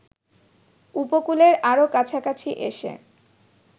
উপকূলের আরো কাছাকাছি এসে